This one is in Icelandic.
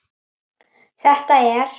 Þetta er